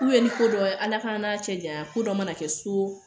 ni ko dɔn Ala k'an n'a cɛ janya ko dɔ mana kɛ so